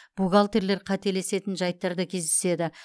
бухгалтерлер қателесетін жайттар да кездеседі